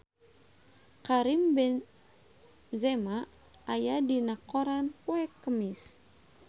Karim Benzema aya dina koran poe Kemis